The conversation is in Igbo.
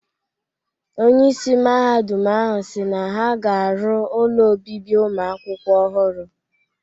Onyeisi Mahadum ahụ si na ha ga-arụ ụlọ obibi ụmụakwụkwọ ọhụrụ.